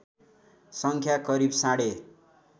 सङ्ख्या करिव साढे